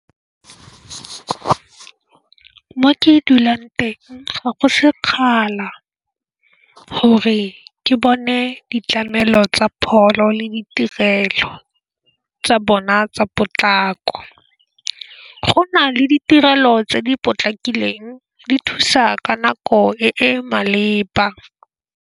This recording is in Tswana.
Mo ke dulang teng ga go sekgala gore ke bone ditlamelo tsa pholo le ditirelo tsa bona tsa potlako. Go nale ditirelo tse di potlakileng di thusa ka nako e malepa.